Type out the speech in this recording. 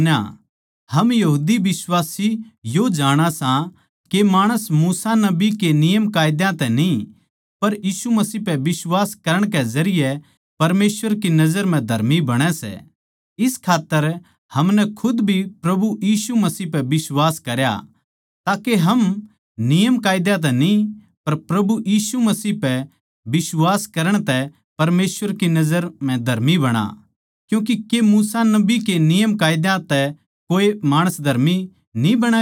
हम यहूदी बिश्वासी यो जाणा सां के माणस मूसा नबी के नियमकायदा तै न्ही पर यीशु मसीह पे बिश्वास करण के जरिये परमेसवर की नजर म्ह धर्मी बणै सै इस खात्तर हमनै खुद भी प्रभु यीशु मसीह पे बिश्वास करया ताके हम नियमकायदा तै न्ही पर यीशु मसीह पै बिश्वास करण तै परमेसवर की नजर म्ह धर्मी बणा क्यूँके के मूसा नबी के नियमकायदा तै कोऐ माणस धर्मी न्ही बणैगा